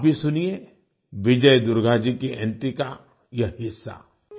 आप भी सुनिये विजय दुर्गा जी की एंट्री का यह हिस्सा